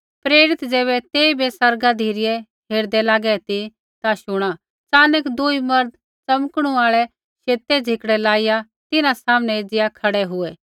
प्रेरित ज़ैबै तेइबै स्वर्गा धिरै हेरदै लागै ती ता शुणा च़ानक दूई मर्द च़मकणु आल़ै शेतै झिकड़ै लाइया तिन्हां सामनै एज़िया खड़ै हुऐ